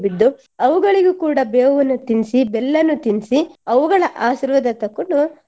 ಬಿದ್ದು ಅವುಗಳಿಗೂ ಕೂಡ ಬೇವನ್ನೂ ತಿನ್ಸಿ ಬೆಲ್ಲನು ತಿನ್ಸಿ ಅವುಗಳ ಆಶೀರ್ವಾದ ತಕೊಂಡು